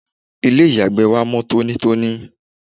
ilé ìyàgbẹ́ wa mọ́ tónítóní